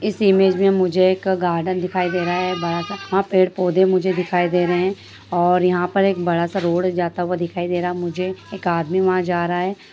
इस इमेज में मुझे एक गार्डन दिखाई दे रहा है बड़ा सा पेड़-पौधे मुझे दिखाई दे रहे हैं और यहां पर एक बड़ा सा रोड जाता हुआ दिखाई दे रहा है मुझे एक आदमी वहां जा रहा है।